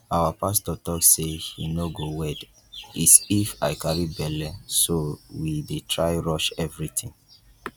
our pastor talk say he no go wed is if i carry bele so we dey try rush everything